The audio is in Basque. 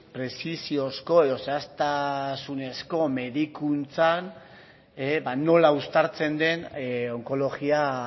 prezisiozko edo zehaztasunezko medikuntzan nola uztartzen den onkologia